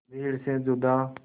भीड़ से जुदा